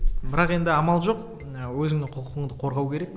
бірақ енді амал жоқ ы өзіңнің құқығыңды қорғау керек